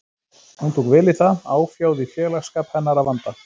Hún tók vel í það, áfjáð í félagsskap hennar að vanda.